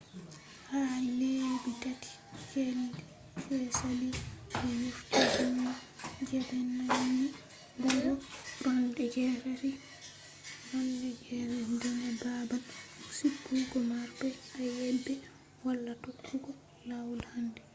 ha lebbi 3 je sali be yofi himbe je be nangi buri 80 daga babal sigugo marbe ayebe wala tokkugo lawol handi